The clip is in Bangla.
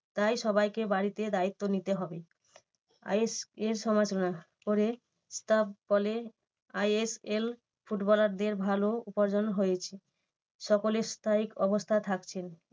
তাই সবাইকে বাড়তি দায়িত্ব নিতে হবে। ISL কে সমালোচনা করে তা বলে ISL ফুটবলার দেড় ভালো উপার্জন হয়েছে। সকলে স্থায়ী অবস্থায় থাকছেন